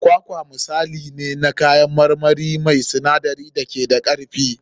Kwakwa misali ne na kayan marmari mai sinadarai da ke da karfi.